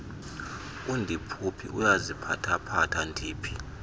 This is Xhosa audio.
andiphuphi uyaziphathaphatha ndiphi